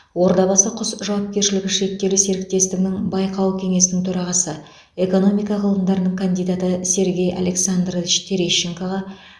ордабасы құс жауапкершілігі шектеулі серіктестігінің байқау кеңесінің төрағасы экономика ғылымдарының кандидаты сергей александрович терещенкоға